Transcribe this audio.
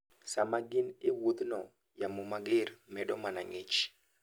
Sama gin e wuodhno, yamo mager medo mana ng'ich.